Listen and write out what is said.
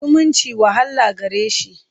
zumunci wahala gare shi.